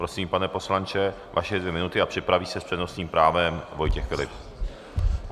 Prosím, pane poslanče, vaše dvě minuty a připraví se s přednostním právem Vojtěch Filip.